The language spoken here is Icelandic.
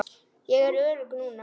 Ég er örugg núna.